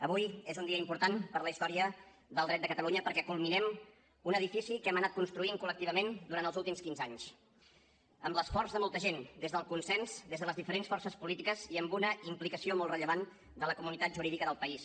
avui és un dia important per a la història del dret de catalunya perquè culminem un edifici que hem anat construint col·lectivament durant els últims quinze anys amb l’esforç de molta gent des del consens des de les diferents forces polítiques i amb una implicació molt rellevant de la comunitat jurídica del país